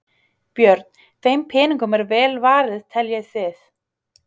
Björn: Þeim peningum er vel varið teljið þið?